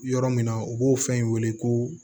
Yɔrɔ min na u b'o fɛn weele ko